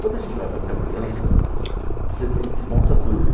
Quando a gente vai fazer a mudança, você desmonta tudo.